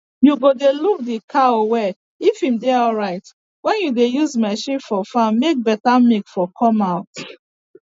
you go dey look d cow well if im dey alrite wen u dey use marchin for farm make beta milk for come out